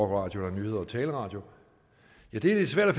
radio eller nyhedertale radio ja det er lidt svært at